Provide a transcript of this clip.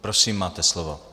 Prosím, máte slovo.